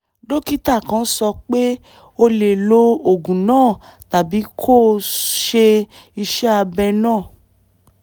dókítà kàn sọ pé o lè lo oògùn náà tàbí kó o ṣe iṣẹ́ abẹ náà